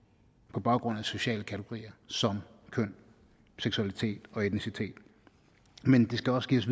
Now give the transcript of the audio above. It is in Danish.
på baggrund af sociale kategorier som køn seksualitet og etnicitet men det skal også give os